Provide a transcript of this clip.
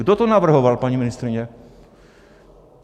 Kdo to navrhoval, paní ministryně?